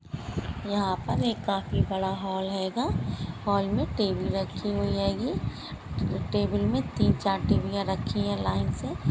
यहाँ पर एक काफी बड़ा एक हॉल हैगा हॉल में टेबल रखी हुई हैगी टेबल में तीन-चार टीवीया रखी है लाइन से।